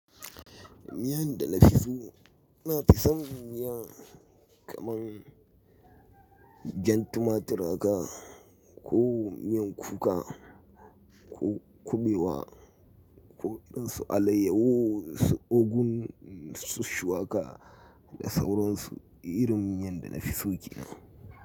Miyan da na fi so, na fi son miya kaman jan tumatit ka ko miyan kuka ko kuɓewa ko irin su alayyahu su ogun su shuwaka da sauransu irin miyan da na fi so ke nan.